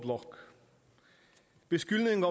vi skal have